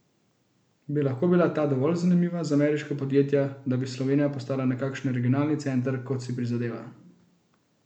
Bi lahko bila ta dovolj zanimiva za ameriška podjetja, da bi Slovenija postala nekakšen regionalni center, kot si prizadeva?